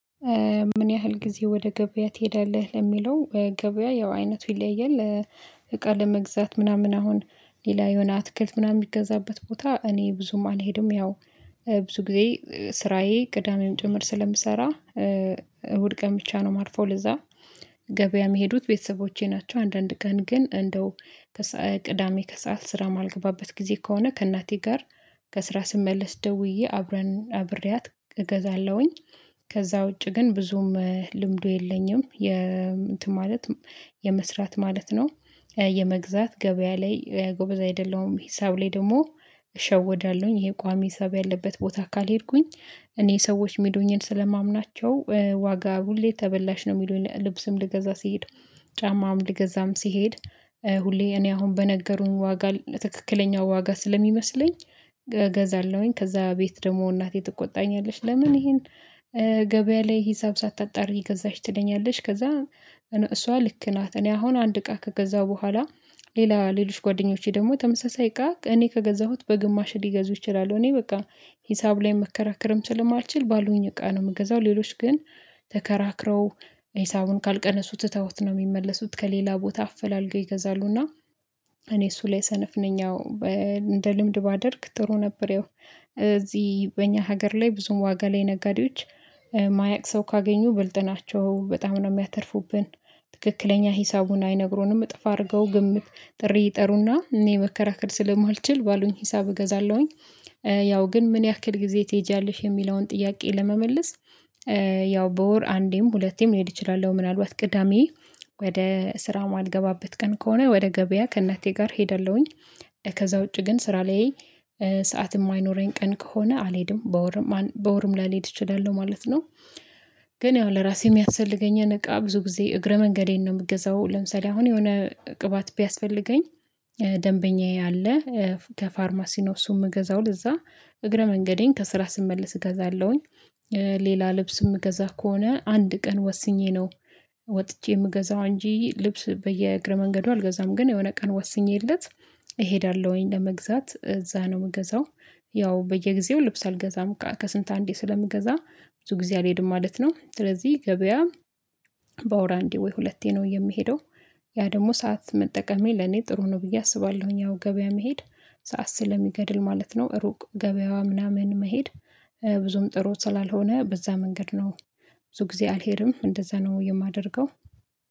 ምን ያህል ጊዜ ወደ ገበያ ትሄዳለህ ለሚለው ገበያ ያው አይነቱ ይለያያል። እቃ ለመግዛት ምናምን አሁን ሌላ የሆነ አትክልት ምናምን የሚገዛበት ቦታ እኔ ብዙም አልሄድም ያው ብዙ ጊዜ ስራዬ ቅዳሜም ጭምር ስለምሰራ እሁድ ቀን ብቻ ነው የማርፈው። ለዚያ ገበያ የሚሄዱት ቤተሰቦቼ ናቸው። አንዳንድ ቀን ግን እንደው ቅዳሜ ከሰአት ስራ የማልገባበት ጊዜ ከሆነ ከእናቴ ጋር ከስራ ስመለስ ደውዬ አብረን አብሬያት እገዛለሁኝ። ከዚያ ውጪ ግን ብዙም ልምዱ የለኝም የ እንትን ማለት የመስራት ማለት ነው የመግዛት ገበያ ላይ ጎበዝ አይደለሁም። ሂሳብ ላይ ደግሞ እሸወዳለሁኝ ይሄ ቋሚ ሂሳብ ያለበት ቦታ ካልሄድኩኝ እኔ ሰዎች ሚሉኝን ስለማምናቸው ዋጋ ሁሌ ተበላሽ ነው የሚሉኝ ልብስም ልገዛ ሲሄድ ጫማም ሊገዛም ሲሄድ ሁሌ እኔ አሁን በነገሩን ዋጋ ትክክለኛው ዋጋ ስለሚመስለኝ ገዛለሁኝ። ከዚያ ቤት ደግሞ እናቴ ትቆጣኛለሽ ለምን ይሄን ገበያ ላይ ሂሳብ ሳታጣር ገዛሽ ትለኛለሽ? ከዚያ እነ እሷ ልክ ናት እኔ አሁን አንድ እቃ ከገዛሁ በኋላ ሌላ ሌሎች ጓደኞቼ ደግሞ ተመሳሳይ እቃ እኔ ከገዛሁት በግማሽ ሊገዙ ይችላሉ። እኔ በቃ ሂሳብ ላይ መከራከርም ስለማልችል ባሉኝ እቃ ነው የምገዛው ሌሎች ግን ተከራክረው ሂሳቡን ካልቀነሱ ትተውት ነው የሚመለሱት ከሌላ ቦታ አፈላልገው ይገዛሉና። እኔ እሱ ላይ ሰነፍ ነኝ። እንደ ልምድ ባደርግ ጥሩ ነበር ያው እዚህ በእኛ ሀገር ላይ ብዙም ዋጋ ላይ ነጋዴዎች የማያቅ ሰው ካገኙ ብልጥ ናቸው በጣም ነው የሚያተርፉብን። ትክክለኛ ሂሳቡን አይነግሩንም እጥፍ አድርገው ግምት ጥሪ ይጠሩና እኔ መከራከር ስለማልችል ባሉኝ ሂሳብ እገዛለሁኝ። ያው ግን ምን ያክል ጊዜ ትሄጃለሽ የሚለውን ጥያቄ ለመመለስ። ያው በወር አንዴም ሁለቴም ልሄድ እችላለሁ ምናልባት ቅዳሜ ወደ ስራ ማልገባበት ቀን ከሆነ ወደ ገበያ ከእናቴ ጋር ሄደለሁኝ። ከዚያ ውጪ ግን ስራ ላይ ሰዓት የማይኖረኝ ቀን ከሆነ አልሄድም በወርም በወርም ላልሄድ እችላለሁ ማለት ነው። ግን ያው ለራሴ የሚያስፈልገኝ እቃ ብዙ ጊዜ እግረ መንገዴን ነው የምገዛው ለምሳሌ አሁን የሆነ ቅባት ቢያስፈልገኝ ደንበኛዬ አለ ከፋርማሲ እሱ የምገዛው ለዚያ እግረ መንገዴን ከስራ ስመለስ እገዛለሁኝ። ሌላ ልብስ የምገዛ ከሆነ አንድ ቀን ወስኜ ነው ወጥቼ የምገዛው እንጂ ልብስ በየእግረ መንገዱ አልገዛም ግን የሆነ ቀን ወስኜለት እሄዳለሁኝ ለመግዛት እዚያ ነው ምገዛው። ያው በየጊዜው ልብስ አልገዛም ከስንት አንዴ ስለምገዛ ብዙ ጊዜ አልሄድም ማለት ነው። ስለዚህ ገበያ በውር አንዴ ወይ ሁለቴ ነው የምሄደው። ያ ደግሞ ሰዓት መጠቀሜ ለኔ ጥሩ ነው ብዬ አስባለሁኝ አሁን ገበያ መሄድ ሰዓት ስለሚገድል ማለት ነው። ሩቅ ገበያ ምናምን መሄድ ብዙም ጥሩ ስላልሆነ በዚያ መንገድ ነው። ብዙ ጊዜ አልሄድም እንደዚያ ነው የማደርገው።